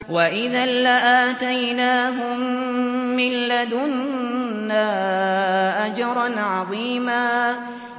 وَإِذًا لَّآتَيْنَاهُم مِّن لَّدُنَّا أَجْرًا عَظِيمًا